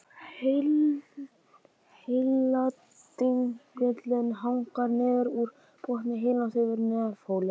Heiladingullinn hangir niður úr botni heilans yfir nefholi.